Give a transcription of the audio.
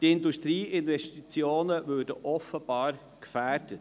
Die Industrieinvestitionen würden offenbar gefährdet.